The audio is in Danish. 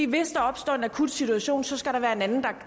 hvis der opstår en akut situation skal der være en anden